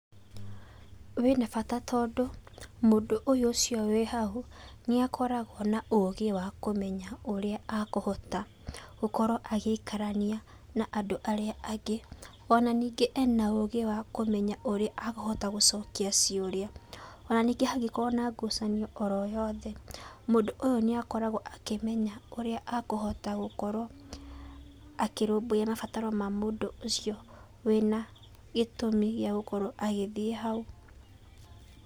Wĩna bata tondũ mũndũ ũcio wĩ hau nĩakoragwo na ũgĩ wa kũmenya ũrĩa akũhota gũkorwo agĩikarania na andũ arĩa angĩ, ona ningĩ ena ũgĩ wa kũmenya ũrĩa akũhota gũcokia ciũria. Ona ningĩ hangĩkorwo na ngucanio oro yothe, mũndũ ũyũ nĩakoragwo akĩmenya ũrĩa akũhota gũkorwo akĩrũmbũyia mabataro ma mũndũ ũcio wĩna gĩtũmi gĩa gũkorwo agĩthiĩ hau.